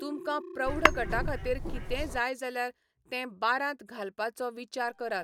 तुमकां प्रौढ गटा खातीर कितेंय जाय जाल्यार तें बारांत घालपाचो विचार करात.